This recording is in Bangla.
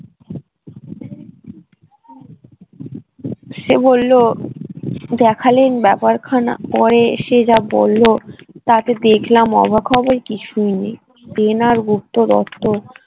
সে বললো দেখালেন ব্যাপার খানা করে সে যা বললো তাতে দেখলাম অবাক হবার কিছুই নেই পেন আর গুপ্ত